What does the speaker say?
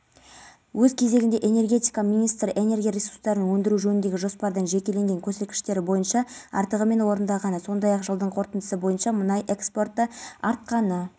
айта кетейік осы аптада ақпарат құралдары бизнесменнің тіпті алдағы тамыз айында бостандыққа шығуы мүмкін екенін хабарлаған